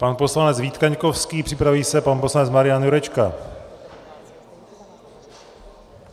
Pan poslanec Vít Kaňkovský, připraví se pan poslanec Marian Jurečka.